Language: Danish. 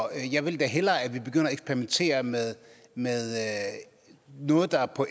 jeg vil da hellere at vi begynder at eksperimentere med noget der på